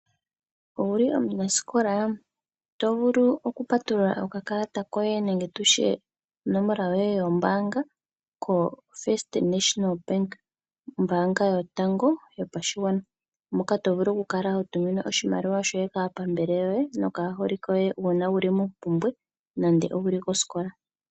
Owuli omunasikola? Oto vulu okupatulula okakalata koye nenge tutye onomola yoye yombaanga koFirst National Bank ombaanga yoye yotango yopashigwana moka to vulu oku kala hotumine oshimaliwa shoye kaapambele yoye nenge wuli kosikola